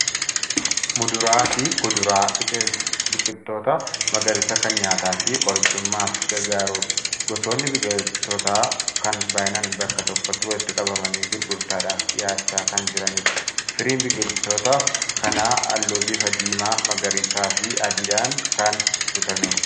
Muduraa fi kuduraa biqiltoota magariisaa kan nyaataa fi qorichummaaf gargaarudha. Gosoonni biqiltootaa kan baay'inaan bakka tokkotti walitti qabamanii gurgurtaadhaaf dhiyaachaa kan jiranidha. Firiin biqiltoota kanaa halluu bifa diimaa, magariisaa fi adiidhaan kan guutamedha.